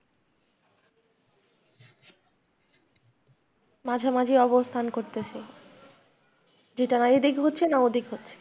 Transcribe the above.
মাঝে মাঝে অবস্থান করতেছে, যেটার এদিক হচ্ছে না ওদিক হচ্ছে।